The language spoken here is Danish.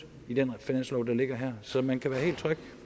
i den finanslov der ligger her så man kan være helt tryg